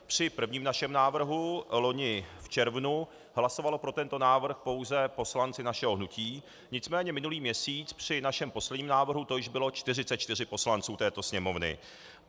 Při prvním našem návrhu vloni v červnu hlasovali pro tento návrh pouze poslanci našeho hnutí, nicméně minulý měsíc při našem posledním návrhu to již bylo 44 poslanců této Sněmovny.